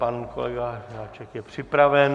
Pan kolega Žáček je připraven.